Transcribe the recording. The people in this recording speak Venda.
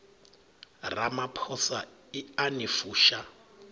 ramaphosa i a ni fusha